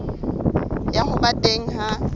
ya ho ba teng ha